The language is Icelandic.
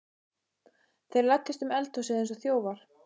Þeir læddust um eldhúsið eins og þjófar.